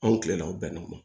Anw tilela o bɛnna o ma